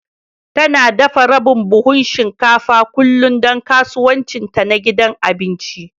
Tana dafa rabin buhun shinkafa kullum don kasuwancinta na gidan abinci